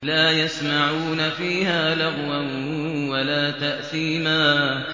لَا يَسْمَعُونَ فِيهَا لَغْوًا وَلَا تَأْثِيمًا